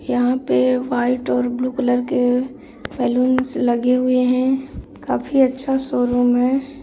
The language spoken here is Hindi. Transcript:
यहां पे व्हाइट और ब्लू कलर के बलूंस लगे हुए है काफी अच्छा शोरूम है।